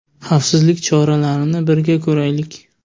Xavfsizlik choralarini birga ko‘raylik.